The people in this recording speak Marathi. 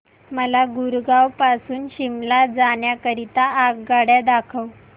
मला गुरगाव पासून शिमला जाण्या करीता आगगाड्या दाखवा